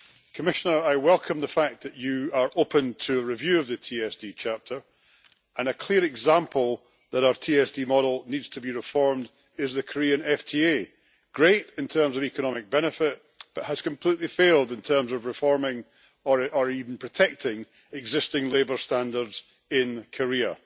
Commissioner, I welcome the fact that you are open to a review of the TSD chapter, and a clear example that our TSD model needs to be reformed is the Korean FTA. Great in terms of economic benefit, but has completely failed in terms of reforming or even protecting existing labour standards in Korea.